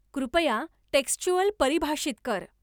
कृपया टेक्स्चुअल परिभाषित कर